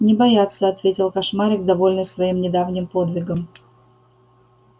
не бояться ответил кошмарик довольный своим недавним подвигом